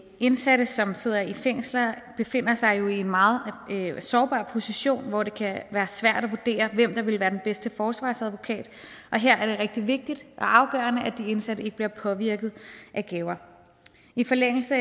indsatte som sidder i fængsler befinder sig jo i en meget sårbar position hvor det kan være svært at vurdere hvem der vil være den bedste forsvarsadvokat og her er det rigtig vigtigt og afgørende at de indsatte ikke bliver påvirket af gaver i forlængelse